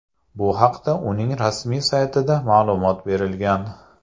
Bu haqda uning rasmiy saytida ma’lumot berilgan .